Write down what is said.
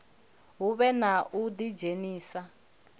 hu vhe na u ḓidzhenisa